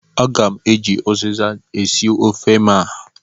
Aga m eji uziza esi ofe m a.